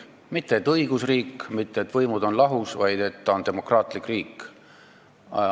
Ta ei ütle, et õigusriik, ta ei ütle, et võimud on lahus, vaid et Venemaa on demokraatlik riik.